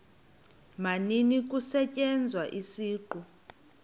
maninzi kusetyenziswa isiqu